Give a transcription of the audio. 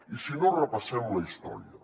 i si no repassem la història